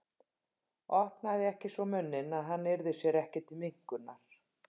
Opnaði ekki svo munninn að hann yrði sér ekki til minnkunar.